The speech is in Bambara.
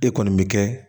E kɔni bɛ kɛ